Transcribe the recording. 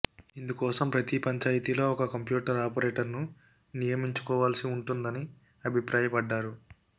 ఇందుకోసం ప్రతి పంచాయితీలో ఒక కంప్యూటర్ ఆపరేటర్ను నియమించుకోవాల్సి ఉంటుందని అభిప్రాయపడ్డారు